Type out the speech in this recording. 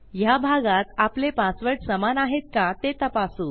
ह्या भागात आपले पासवर्ड समान आहेत का ते तपासू